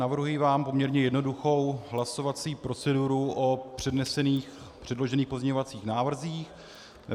Navrhuji vám poměrně jednoduchou hlasovací proceduru o předložených pozměňovacích návrzích.